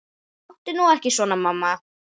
Láttu nú ekki svona mamma.